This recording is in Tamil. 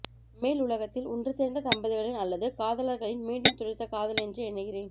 மேல் உலகத்தில் ஒன்று சேர்ந்த தம்பதிகளின் அல்லது காதலர்களின் மீண்டும் துளிர்த்த காதல் என்ற எண்ணுகிறேன்